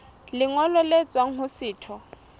lengolo le tswang ho setho